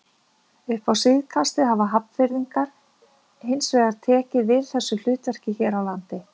Upp á síðkastið hafa Hafnfirðingar hins vegar tekið við þessu hlutverki hér á landi.